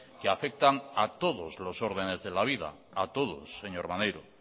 que afectan a todos los órdenes de la vida a todos señor maneiro